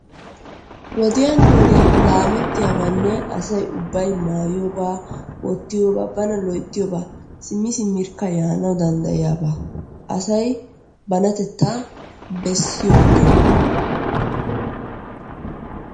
Wodiyan wodiyan laamettiyabaanne asay ubbay maayiiyoobaa wottiyoobaa bana loyttiyobaa simmi simirkka yaanawu dandayiyaabaa asay banatettaa bessiyo ogiya.